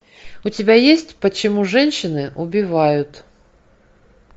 у тебя есть почему женщины убивают